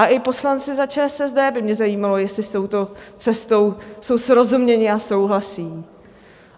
A i poslanci za ČSSD by mě zajímalo, jestli s touto cestou jsou srozuměni a souhlasí.